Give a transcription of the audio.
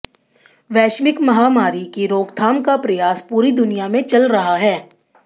वैश्विक महामारी की रोकथाम का प्रयास पूरी दुनिया में चल रहा है